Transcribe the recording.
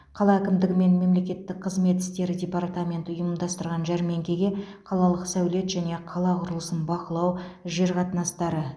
қала әкімдігі мен мемлекеттік қызмет істері департаменті ұйымдастырған жәрмеңкеге қалалық сәулет және қала құрылысын бақылау жер қатынастары